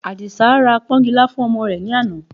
Àdìsá ra pọ́nkilá fún ọmọ rẹ̀ ní àná